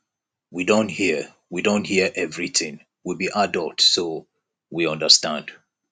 we don hear we don hear everything we be adults so we understand